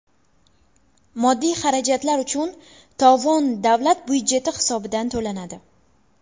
Moddiy xarajatlar uchun tovon davlat byudjeti hisobidan to‘lanadi.